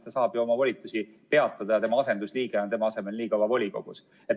Ta saab oma volituse peatada ja tema asendusliige on tema asemel nii kaua volikogus.